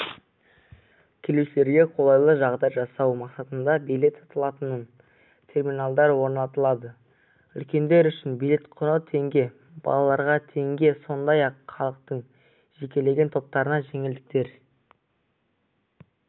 келушілерге қолайлы жағдай жасау мақсатында билет салыталатын терминалдар орнатылды үлкендер үшін билет құны теңге балалаларға теңге сондай-ақ халықтың жекелеген топтарына жеңілдіктер